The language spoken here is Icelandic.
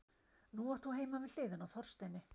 Nú átt þú heima við hliðina á Þorsteini.